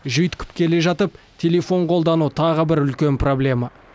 жүйткіп келе жатып телефон қолдану тағы бір үлкен проблема